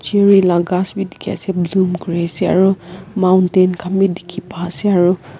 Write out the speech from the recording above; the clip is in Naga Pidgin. cherry la kas b diki ase bloom kuri ase aro mountain kan b diki pa ase aro.